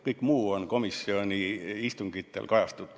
Kõik muu on komisjoni istungitel kajastatud.